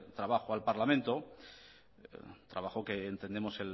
trabajo al parlamento trabajo que entendemos